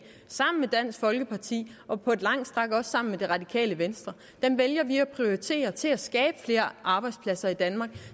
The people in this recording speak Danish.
sammen med dansk folkeparti og på lange stræk også sammen med det radikale venstre vælger vi at prioritere til at skabe flere arbejdspladser i danmark